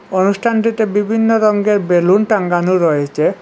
অনুষ্ঠানটিতে বিভিন্ন রঙ্গের বেলুন টাঙ্গানো রয়েছে।